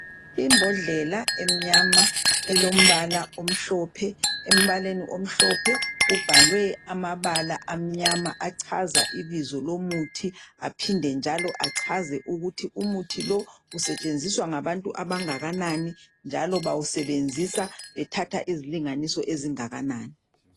Imbodlela emnyama elombala omhlophe ,embaleni omhlophe kubhalwe amabala amnyama echaza ibizo lomuthi aphinde njalo achaze ukuthi umuthi lo usetshenziswa ngabantu abangakanani njalo bawusebenzisa bethatha izilinganiso ezingakanani.